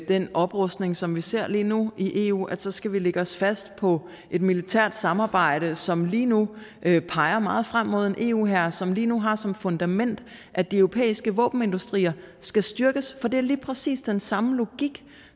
den oprustning som vi ser lige nu i eu at så skal vi lægge os fast på et militært samarbejde som lige nu peger meget frem mod en eu hær som lige nu har det som fundament at de europæiske våbenindustrier skal styrkes for det er lige præcis den samme logik